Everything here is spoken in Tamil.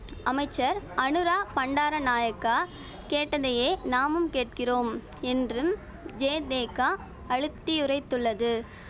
அமைச்சர் அநுரா பண்டார நாயக்கா கேட்டதையே நாமும் கேட்கிறோம் என்றும் ஜேதேக அழுத்தியுரைத்துள்ளது